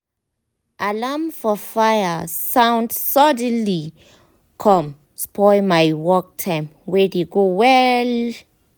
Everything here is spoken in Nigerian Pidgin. alarm for fire sound suddenly com spoil my work time wey dey go well